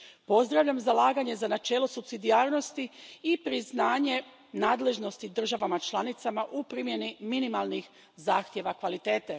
Pozdravljam zalaganje za načelo supsidijarnosti i priznanje nadležnosti državama članicama u primjeni minimalnih zahtjeva kvalitete.